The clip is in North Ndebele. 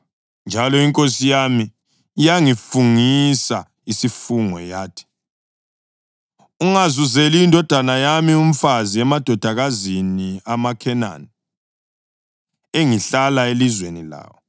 Njalo inkosi yami yangifungisa isifungo yathi, ‘Ungazuzeli indodana yami umfazi emadodakazini amaKhenani, engihlala elizweni lawo,